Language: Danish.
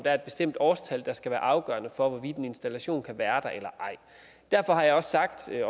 er et bestemt årstal der skal være afgørende for hvorvidt en installation kan være der eller ej derfor har jeg også sagt jeg